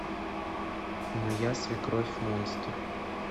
моя свекровь монстр